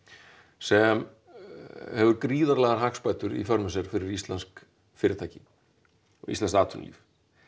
sem hefur gríðarlegar hagsbætur í för með sér fyrir íslensk fyrirtæki og íslenskt atvinnulíf